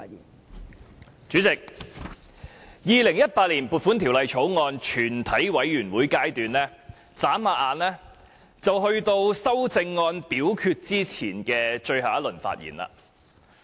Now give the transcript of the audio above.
代理主席，《2018年撥款條例草案》全體委員會審議階段轉眼便到了就修正案進行表決前的最後一輪發言。